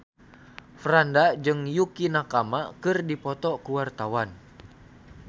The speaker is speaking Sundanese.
Franda jeung Yukie Nakama keur dipoto ku wartawan